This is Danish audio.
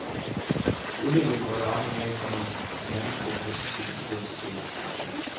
Udviklingen går i retning af, komma at handelsskolen mister sin identitet. punktum